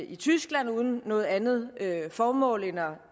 i tyskland uden noget andet formål